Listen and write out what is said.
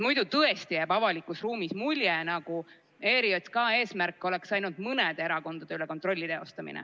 Muidu tõesti jääb avalikus ruumis mulje, nagu ERJK eesmärk oleks ainult mõne erakonna üle kontrolli teostamine.